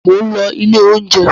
Mo ń lọ ilé oúnjẹ